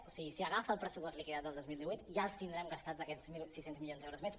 o sigui si agafa el pressupost liquidat del dos mil divuit ja els tindrem gastats aquests mil sis cents milions d’euros més